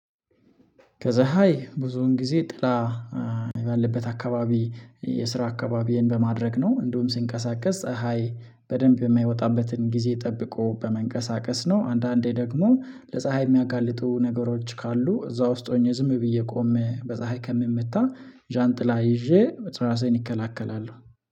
ከዛ ሃይ ብዙውን ጊዜ ጥላ ባለበት አካባቢ የስራ አካባቢዬን በማድረግ ነው። እንደውም ሲንቀሳቀስ ፀሀይ በደንብ የማይወጣበትን ጊዜ ጠብቆ በመንቀሳቀስ ነው። አንዳንዴ ደግሞ ለፀሀይ የሚያጋልጡ ነገሮች ካሉ እዛ ውስጥ ሆኜ ዝም ብዬ ቆም በፀሀይ ከምመታ ዣንጥላ ይዤ እራሴን ይከላከላሉ